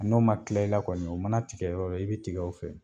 N'o ma kila i la kɔni o mana tigɛ yɔrɔ yɔrɔ i bɛ tigɛ o fɛ